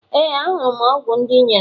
Ee, ahụrụ m ọgwụ ndị i nyere m.